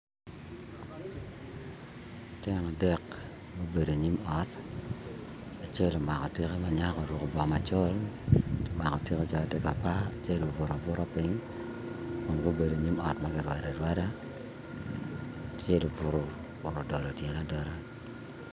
Lutino adek gubedo i nyim ot acel omako tikke ma nyako oruko bongo macol omako tika calo tye ka par acel obuto abuta piny kun gubedo inyim ot ma kirwado arwada acel obuto odolo tyene adola